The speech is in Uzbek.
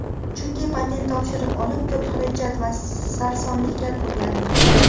Chunki patent topshirib olib, ko‘p xarajat va sarsonliklar ko‘rgandik.